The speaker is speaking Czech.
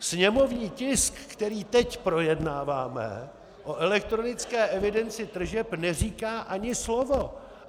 Sněmovní tisk, který teď projednáváme, o elektronické evidenci tržeb neříká ani slovo.